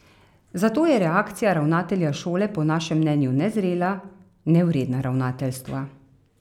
Zato je reakcija ravnatelja šole po našem mnenju nezrela, nevredna ravnateljstva.